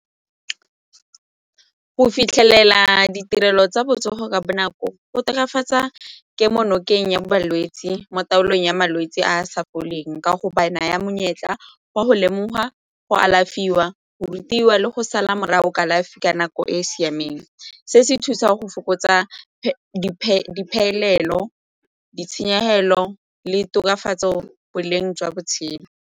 Go fitlhelela ditirelo tsa botsogo ka bonako go tokafatsa kemo nokeng ya balwetse mo taolong ya malwetse a a sa foleng ka go ba naya monyetla wa go lemoga go alafiwa go rutiwa le go sala morago kalafi ka nako e e siameng. Se se thusa go fokotsa diphelelo, ditshenyegelo le tokafatso boleng jwa botshelo.